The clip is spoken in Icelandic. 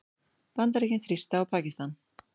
Bandaríkin þrýsta á Pakistan